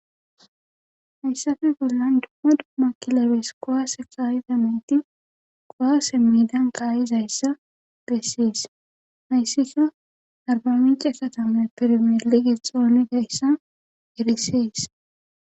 hayssafe bollan dumma dumma kilabees qowaase kaayizameyti qowaase medan qaayiz hayssa beessees hayssikka arba minci esatame pirmele gexooni gayssa erisees